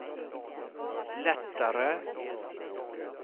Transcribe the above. lättare